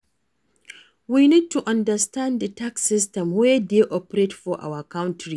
We need to understand di tax system wey dey operate for our country